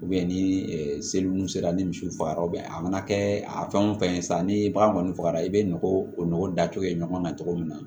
ni seli nu sera ni misiw faga a mana kɛ a fɛn o fɛn ye sa ni bagan kɔni fagara i bɛ nɔgɔ o nɔgɔ datugu kɛ ɲɔgɔn kan cogo min na